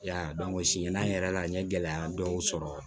Ya dɔn sini yɛrɛ la n ye gɛlɛya dɔw sɔrɔ